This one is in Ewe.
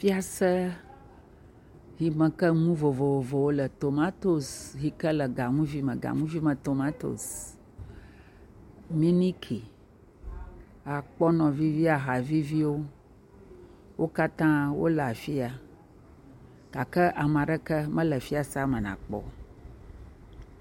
Fiase yi me ke nu vovovowo le, tomatosi yi ke le ganuguime, ganuvime tomatosi, miniki, akpɔnɔ vivi, aha viviwo, wo katã le afi ya gake ame aɖeke mele afi ya nàkpɔ o.